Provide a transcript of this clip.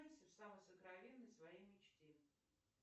самой сокровенной своей мечте